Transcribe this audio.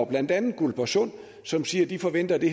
blandt andet guldborgsunds som siger at de forventer at det